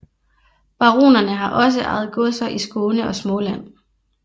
Baronerne har også ejet godser i Skåne og Småland